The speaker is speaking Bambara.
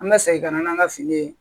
An bɛ segin ka na n'an ka fini ye